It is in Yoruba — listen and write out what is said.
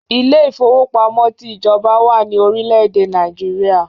Ilé ifówópamọ́ ti ìjọba wà ní orílè èdè Nàìjíríà